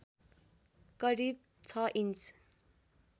करिब ६ इन्च